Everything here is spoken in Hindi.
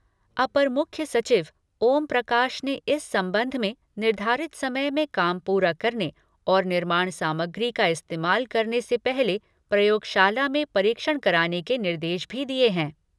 अपर मुख्य सचिव ओम प्रकाश ने इस संबंध में निर्धारित समय में काम पूरा करने और निर्माण सामग्री का इस्तेमाल करने से पहले प्रयोगशाला में परीक्षण कराने के निर्देश भी दिये हैं।